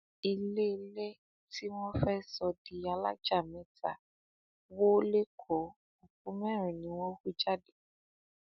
iléèlé tí wọn fẹ sọ di alájà mẹta wó lékòó òkú mẹrin ni wọn hú jáde